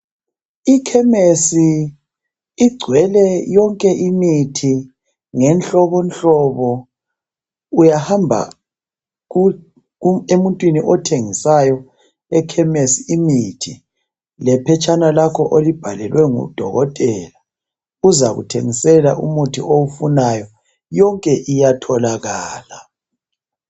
Ikhemesi igcwele yonke imithi ngemhlobohlobo. Uyahamba emuntwini othengisayo ekhemesi imithi lephetshana lakho olibhalelwe ngudokotela uzakuthengisela umuthi oyifunayo. Yonke iyatholakala